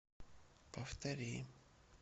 повтори